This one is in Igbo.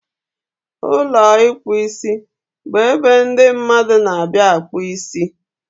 Ụlọ ịkpụ isibụ ebe ndị mmadụ n'abịa akpụ isi